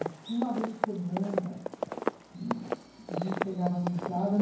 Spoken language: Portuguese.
Acho que uma vez por semana que, a gente pegava a mesada.